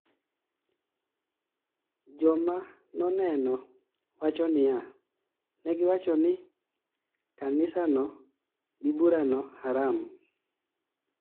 jomanoneno wacho niya ,negiwachoni kanisano gi burano haram